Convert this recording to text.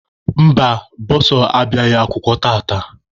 Mba, bọsa abịaghị akwụkwọ tata.